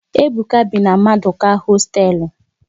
Ebuka bi na Maduka hosteelu